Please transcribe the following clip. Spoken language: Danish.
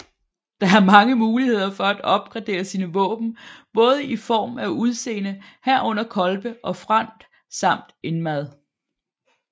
Der er mange muligheder for at opgradere sine våben både i form af udseende herunder kolbe og front samt indmad